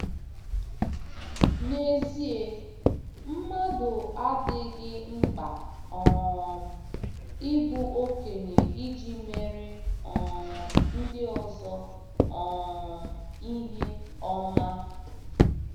N’ezie, mmadụ adịghị mkpa um ịbụ okenye iji meere um ndị ọzọ um ihe ọma.